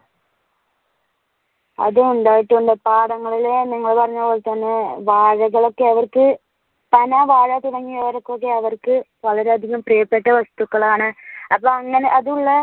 അതുണ്ടായിട്ടുണ്ട് പാടങ്ങളിൽ നിങ്ങൾ പറഞ്ഞപോലെതന്നെ വാഴകൾ ഒക്കെ അവർക്കു പന, വാഴ തുടങ്ങിയവ ഒക്കെ അവർക്ക് വളരെ അധികം പ്രിയപ്പെട്ട വസ്തുക്കളാണ്. അപ്പോ അങ്ങനെ അത് ഒന്ന്